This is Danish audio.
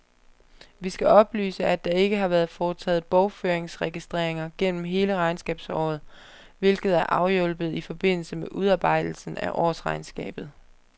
Vi skal oplyse, at der ikke har været foretaget bogføringsregistreringer gennem hele regnskabsåret, hvilket er afhjulpet i forbindelse med udarbejdelsen af årsregnskabet.